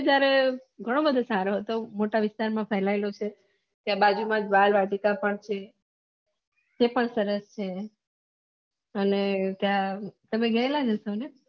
જયારે ઘણું બધું સારું હતું મોટા વિસ્તાર માં ફેલાયેલો છે તે બાજુ માં વાળ વાગીચા પણ છે એ પણ સરસ છે અને ત્યાં તમે ગયેલા ન તમે